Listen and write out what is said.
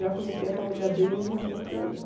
Já conhecia a família dele, ele já conhecia a minha.